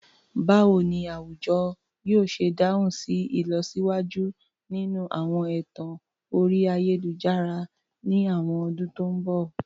Báwo ni àwùjọ yóò ṣe dáhùn sí ìlọsíwájú nínú àwọn ẹ̀tàn orí ayélujára ní àwọn ọdún tó ń bọ̀?